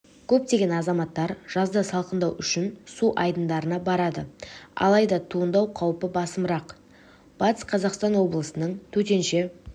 көптеген азаматтар жазда салқындау үшін су айдындарына барады алайда туындау қаупі басымырақ батыс қазақстан облысының төтенше